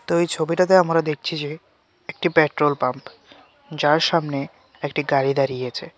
তো এই ছবিটিতে আমরা দেখছি যে একটি পেট্রোল পাম্প যার সামনে একটি গাড়ি দাঁড়িয়ে আছে।